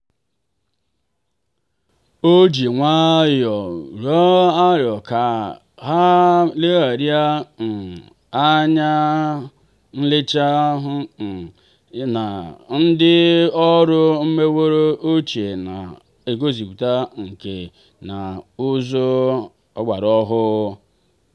o ji nwayọọ um tụọ aro ka ha legharịa um anya n'echiche bụ um na ndị ọrụ meworo ochie na-eguzogide nkà na ụzụ ọgbara ọhụụ.